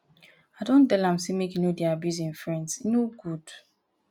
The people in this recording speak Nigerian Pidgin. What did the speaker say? i don tell am sey make e no dey abuse im friends e no good.